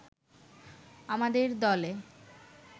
আমাদের দলে